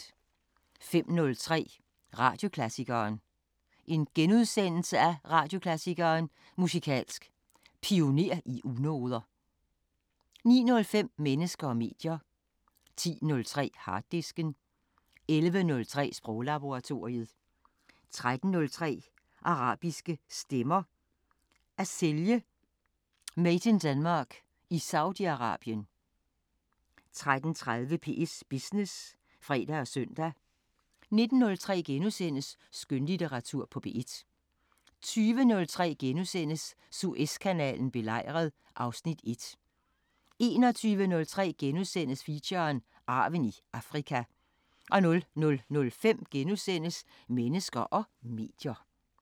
05:03: Radioklassikeren: Radioklassikeren: Musikalsk Pioner i unoder * 09:05: Mennesker og medier 10:03: Harddisken 11:03: Sproglaboratoriet 13:03: Arabiske Stemmer: At sælge 'Made In Denmark' i Saudi Arabien 13:30: P1 Business (fre og søn) 19:03: Skønlitteratur på P1 * 20:03: Suezkanalen belejret (Afs. 1)* 21:03: Feature: Arven i Afrika * 00:05: Mennesker og medier *